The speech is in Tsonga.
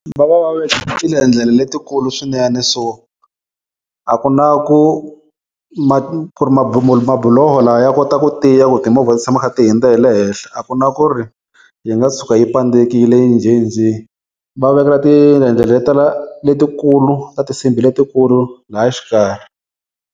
Va va va ve letikulu swinene so a ku na ku mabuloho lawa ya kota ku tiya ku timovha ti tshama kha ti hindza hi le henhla, a ku na ku ri yi nga tshuka yi pandzekile njhenjhe, va vekela letikulu ta tisimbhi letikulu laya xikarhi.